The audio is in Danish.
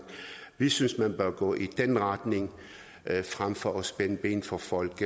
vi synes at man bør gå i den retning frem for at spænde ben for folk